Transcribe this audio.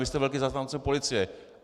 Vy jste velký zastánce policie.